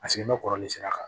kɔrɔlen sira kan